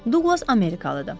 Duqlas Amerikalıdır.